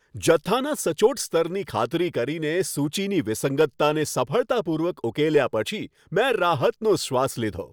જથ્થાના સચોટ સ્તરની ખાતરી કરીને, સૂચીની વિસંગતતાને સફળતાપૂર્વક ઉકેલ્યા પછી, મેં રાહતનો શ્વાસ લીધો.